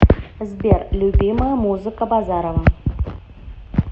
сбер любимая музыка базарова